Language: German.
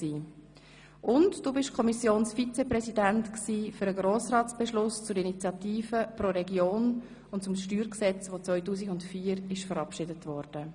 Und du warst Kommissionsvizepräsident für den Grossratsbeschluss zur Initiative «Pro Region» und zum Steuergesetz, dass 2004 verabschiedet wurde.